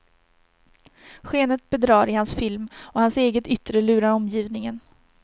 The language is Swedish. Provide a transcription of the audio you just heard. Skenet bedrar i hans film och hans eget yttre lurar omgivningen.